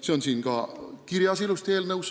See on siin eelnõus ka ilusti kirjas.